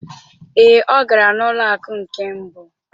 Ee, ọ gara n'ụlọ akụ nke mbụ.